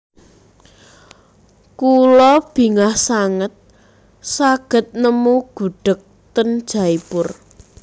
Kulo bingah sanget saged nemu gudheg ten Jaipur